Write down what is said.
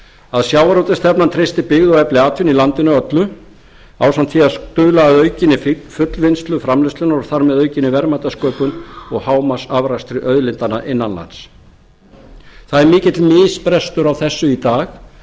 að sjávarútvegsstefnan treysti byggð og efli atvinnu í landinu öllu ásamt því að stuðla að aukinni fullvinnslu framleiðslunnar og þar með aukinni verðmætasköpun og hámarksafrakstri auðlindanna innan lands það er mikill misbrestur á þessu í dag